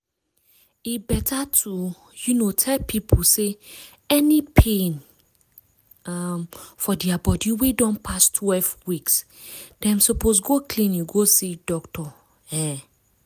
e better to um tell pipo say any pain um for dia body wey don pass twelve weeks dem suppose go clinic go see doctor um